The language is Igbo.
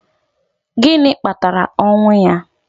Gịnị kpatara ọnwụ ya?